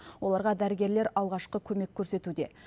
оларға дәрігерлер алғашқы көмек көрсетуде